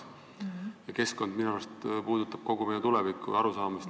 Ja keskkond minu meelest on teema, mis puudutab kogu meie arusaamist tulevikust.